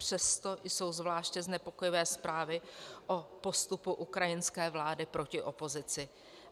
Přesto jsou zvláště znepokojivé zprávy o postupu ukrajinské vlády proti opozici.